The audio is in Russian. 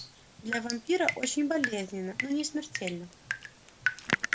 для вампира очень болезненно но не смертельно